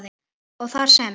og þar sem